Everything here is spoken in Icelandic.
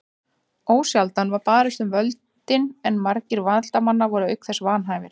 Ósjaldan var barist um völdin en margir valdamanna voru auk þess vanhæfir.